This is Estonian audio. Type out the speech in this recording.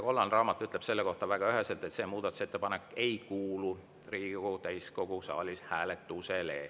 Kollane raamat ütleb selle kohta väga üheselt, et see muudatusettepanek ei kuulu Riigikogu täiskogu saalis hääletusele.